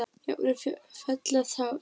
Jafnvel fella tár.